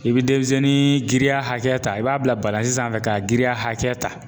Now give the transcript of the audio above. I bɛ denmisɛnnin giriya hakɛ ta i b'a bila balani sanfɛ ka giriya hakɛ ta.